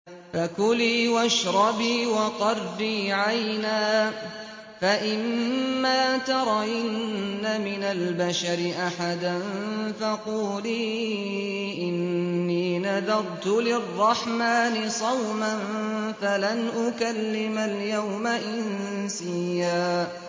فَكُلِي وَاشْرَبِي وَقَرِّي عَيْنًا ۖ فَإِمَّا تَرَيِنَّ مِنَ الْبَشَرِ أَحَدًا فَقُولِي إِنِّي نَذَرْتُ لِلرَّحْمَٰنِ صَوْمًا فَلَنْ أُكَلِّمَ الْيَوْمَ إِنسِيًّا